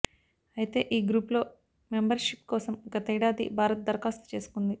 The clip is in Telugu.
అయితే ఈ గ్రూప్లో మెంబర్షిప్ కోసం గతేడాది భారత్ దరఖాస్తు చేసుకుంది